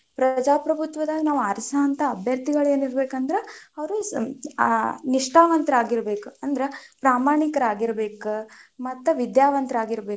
ಪ್ರಜಾಪ್ರಬುತ್ವದಾಗ ನಾವು ಆರಿಸುವಂತಹ ಅಭ್ಯರ್ತಿಗಳ್ ಏನಿರಬೇಕಂದ್ರ, ಅವ್ರು ನಿಷ್ಠಾವಂತರಾಗಿರಬೇಕ್ ಅಂದ್ರ ಪ್ರಾಮಾಣಿಕರಾಗಿರಬೇಕ್ ಮತ್ ವಿದ್ಯಾವಂತರಾಗಿರಬೇಕ್.